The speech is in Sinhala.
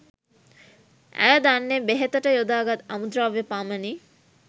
ඇය දන්නේ බෙහෙතට යොදා ගත් අමු ද්‍රව්‍ය පමණි